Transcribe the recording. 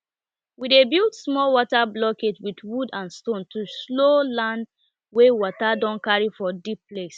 we dey build small water blockage with wood and stone to slow land wey water don carry for deep place